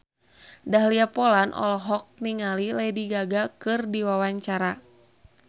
Dahlia Poland olohok ningali Lady Gaga keur diwawancara